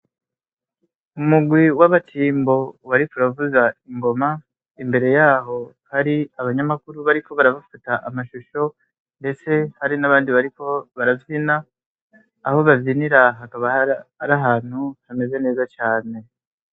Umurwi w'abatimbo wariko uravuza ingoma, imbere yaho hari abanyamakuru bariko barabafata amashusho ndetse hari n'abandi bariko baravyina, aho bavyinira hakaba ari ahantu hameze neza cane.